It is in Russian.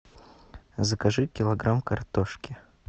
закажи килограмм картошки